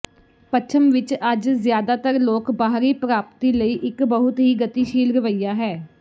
ਪੱਛਮ ਵਿਚ ਅੱਜ ਜ਼ਿਆਦਾਤਰ ਲੋਕ ਬਾਹਰੀ ਪ੍ਰਾਪਤੀ ਲਈ ਇੱਕ ਬਹੁਤ ਹੀ ਗਤੀਸ਼ੀਲ ਰਵੱਈਆ ਹੈ